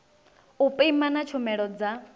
u pima na tshumelo dza